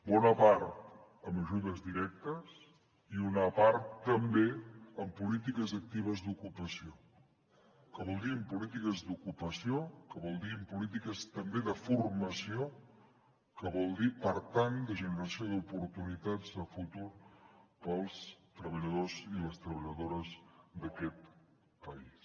bona part amb ajudes directes i una part també amb polítiques actives d’ocupació que vol dir amb polítiques d’ocupació que vol dir amb polítiques també de formació que vol dir per tant de generació d’oportunitats de futur per als treballadors i les treballadores d’aquest país